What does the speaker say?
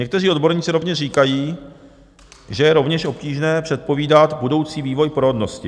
Někteří odborníci rovněž říkají, že je rovněž obtížné předpovídat budoucí vývoj porodnosti.